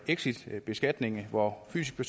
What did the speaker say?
exitbeskatning hvor fysiske